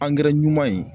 angɛrɛ ɲuman ye